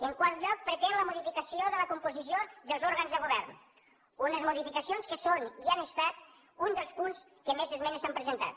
en quart lloc pretén la modificació de la composició dels òrgans de govern unes modificacions que són i han estat un dels punts als quals més esmenes s’han presentat